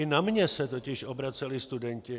I na mě se totiž obraceli studenti.